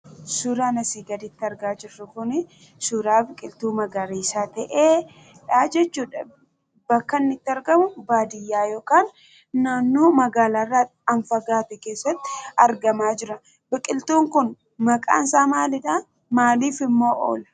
Suuraan asii gaditti argaa jirru kuni suuraa biqiltuu magariisa ta'edha jechuudha. Bakka inni itti argamu baadiyyaa yookaan naannoo magaalarraa kan fagaate keessatti argamaa jira . Biqiltuun kun maqaansaa maalidha? maaliifimmoo oola?